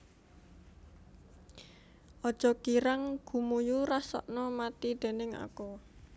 Aja girang gumuyu rasakna mati déning aku